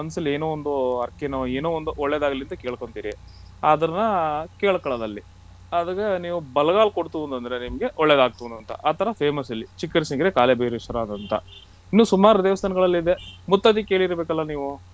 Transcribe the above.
ನಿಮ್ ಮನಸ್ಸಲ್ಲಿ ಒಂದು ಹರಕೆನೋ ಏನೋ ಒಂದು ಒಳ್ಳೇದಾಗಲಿ ಅಂತ ಕೇಳ್ಕೊಳ್ತೀರಿ ಅದನ್ನ ಕೇಳ್ಕೊಳ್ಳೋದು ಅಲ್ಲಿ ಅದು ನಿಮ್ಗ್ ಬಲಗಾಲು ಕೊಡ್ತು ಅಂದ್ರೆ ನಿಮಗೆ ಒಳ್ಳೇದ್ ಆಗ್ತದೆ ಅಂತ ಆತರ famous ಇಲ್ಲಿ ಕಾಲಭೈವೇಶ್ವರ ಅಂತ ಇನ್ನ ಸುಮಾರ ದೇವಸ್ತಾನಗಳಿದೆ ಮುತ್ತತ್ತಿ ಕೇಳಿರಬೇಕಲ್ಲ ನೀವು.